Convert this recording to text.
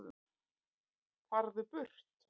FARÐU BURT